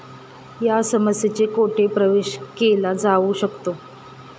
या समस्येचे कोठे प्रवेश केला जाऊ शकतो?